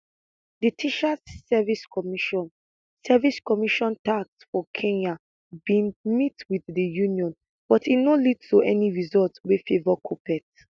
di teachers service commission service commission tsc for kenya bin meet wit di union but e no lead to any result wey favour kuppet